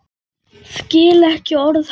Skil ekki orð hans.